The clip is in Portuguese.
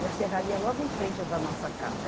e a Serraria é logo em frente da nossa casa.